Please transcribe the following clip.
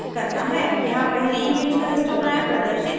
यहाँ पहली image का histogram प्रदर्शित किया गया है